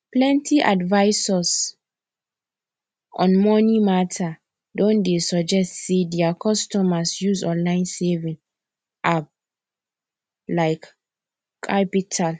plenty advisors on money matter don dey suggest say their customers use online saving appl like qapital